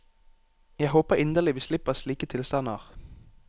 Jeg håper inderlig vi slipper slike tilstander.